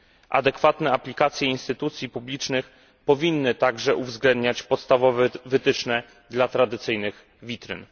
Adekwatne aplikacje instytucji publicznych powinny także uwzględniać podstawowe wytyczne dla tradycyjnych witryn.